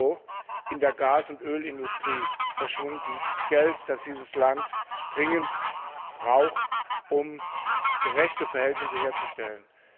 EUR in der Gas und Ölindustrie verschwunden Geld, das dieses Land dringend braucht, um gerechte Verhältnisse herzustellen.